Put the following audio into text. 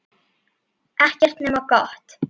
Ekkert nema gott.